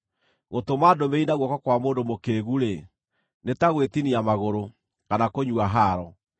Gũtũma ndũmĩrĩri na guoko kwa mũndũ mũkĩĩgu-rĩ, nĩ ta gwĩtinia magũrũ, kana kũnyua haaro.